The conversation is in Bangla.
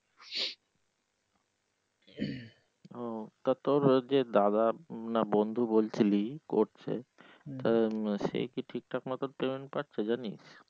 ও তা তোর ওই যে দাদা না বন্ধু বলছিলি করছে তাদের সেই কি ঠিকঠাক মতো payment পাচ্ছে জানিস?